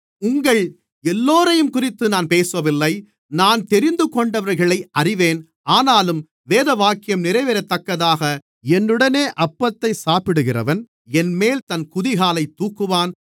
உங்கள் எல்லோரையும் குறித்து நான் பேசவில்லை நான் தெரிந்துகொண்டவர்களை அறிவேன் ஆனாலும் வேதவாக்கியம் நிறைவேறத்தக்கதாக என்னுடனே அப்பத்தை சாப்பிடுகிறவன் என்மேல் தன் குதிகாலைத் தூக்கினான்